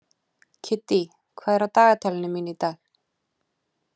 Kiddý, hvað er á dagatalinu mínu í dag?